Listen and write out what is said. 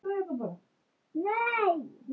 Draga mætti lærdóm af málinu.